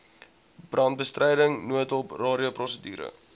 brandbestryding noodhulp radioprosedure